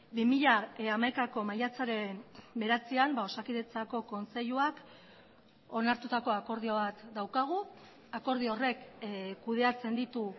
bi mila hamaikako maiatzaren bederatzian osakidetzako kontseiluak onartutako akordio bat daukagu akordio horrek kudeatzen ditu